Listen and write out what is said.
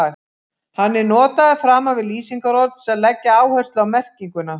Hann er notaður framan við lýsingarorð til þess að leggja áherslu á merkinguna.